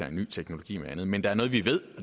af ny teknologi og andet men der er noget vi ved